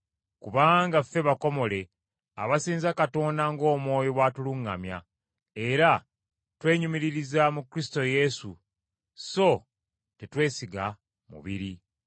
Kubanga ffe bakomole, abasinza Katonda ng’Omwoyo bw’atuluŋŋamya, era twenyumiririza mu Kristo Yesu so tetwesiga mubiri.